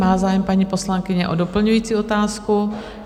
Má zájem paní poslankyně o doplňující otázku?